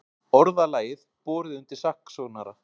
Orðalag borið undir saksóknara